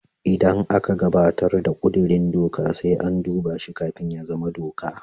Idan aka gabatar da kudirin doka, sai an duba shi kafin ya zama doka.